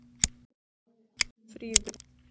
Fríður